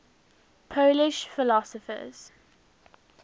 polish philosophers